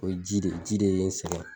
O ye ji de ye ji de ye n sɛgɛn